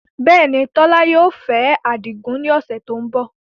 Bẹ́ẹ̀ ni, Tola yóò fẹ́ Adigun ní ọ̀sẹ̀ tó ń bọ̀